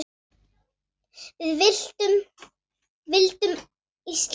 Við vildum Íslandi allt!